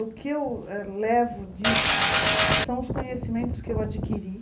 O que eu a levo disso são os conhecimentos que eu adquiri.